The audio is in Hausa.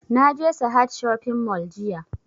Na je sahad shopping mall jiya